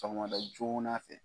Sɔgɔmada joona fɛ.